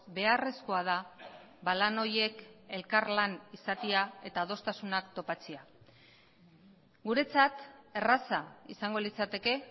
beharrezkoa da lan horiek elkarlan izatea eta adostasunak topatzea guretzat erraza izango litzateke